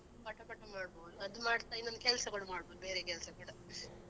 ಪಟ ಪಟ ಮಾಡ್ಬೋದು ಅದು ಮಾಡ್ತಾ ಇನ್ನೊಂದು ಕೆಲ್ಸ ಕೂಡ ಮಾಡ್ಬೋದು ಬೇರೆ ಕೆಲ್ಸ ಕೂಡ.